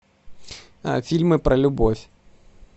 фильмы про любовь